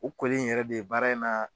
U koli in yɛrɛ de ye baara in na